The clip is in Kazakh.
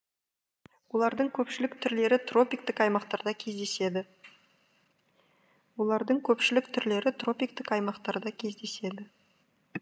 олардың көпшілік түрлері тропиктік аймақтарда кездеседі олардың көпшілік түрлері тропиктік аймақтарда кездеседі